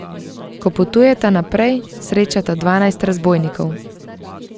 Ko potujeta naprej, srečata dvanajst razbojnikov.